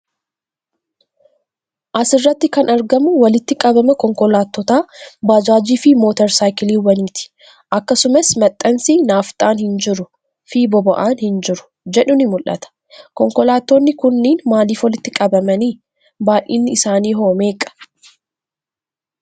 As irratti kan argamu walitti qabama konkolaattotaa, baajaajii fi motor saayikiliiwwanii ti. Akkasumas, maxxansi 'Naafxaan hin jiru' fi 'Boba'aan hin jiru' jedhu ni mul'ata. Konkolaattonni kunniin maaliif walitti qabaman? Baay'inni isaanii hoo meeqa?